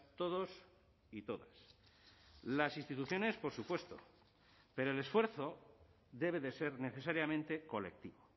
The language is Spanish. todos y todas las instituciones por supuesto pero el esfuerzo debe de ser necesariamente colectivo